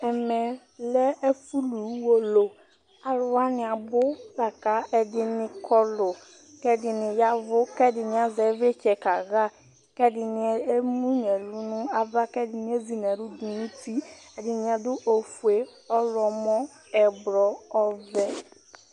Ɛmɛlɛ ɛfʋlʋ Ʋwolowʋ, alʋwani abʋ lakʋ ɛdini kɔlʋ, kʋ ɛdinibya ɛvʋ kʋ ɛdini azɛ ivlitsɛ kaxa Kʋ ɛdini emʋnʋ ɛlʋ nʋ ava, kʋ ɛdini ezinʋ ɛlʋ dʋnʋ uti Ɛdinibadʋ ofue, ɔwlɔmɔ, ɛblɔ, ɔvɛ